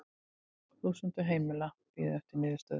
Þúsundir heimila bíði eftir niðurstöðu